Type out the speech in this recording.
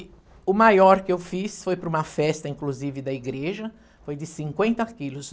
E o maior que eu fiz foi para uma festa, inclusive, da igreja, foi de cinquenta quilos.